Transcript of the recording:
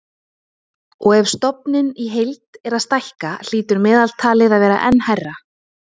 Og ef stofninn í heild er að stækka hlýtur meðaltalið að vera enn hærra.